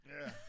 Ja